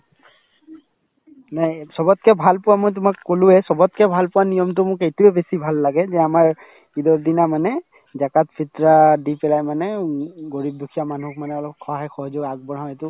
নাই চবতকে ভাল পোৱা মই তোমাক কলোয়ে চবতকে ভাল পোৱা নিয়মতো মোক এইটোয়ে বেছি ভাল লাগে যে আমাৰ ঈদৰ দিনা মানে জাকাত, ফিত্ৰাহ দি পেলাই মানে উম garib দুখীয়া মানুহক মানে অলপ সহায় সহযোগ আগবঢ়াও এইটো